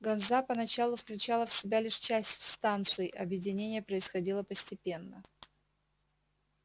ганза поначалу включала в себя лишь часть станций объединение происходило постепенно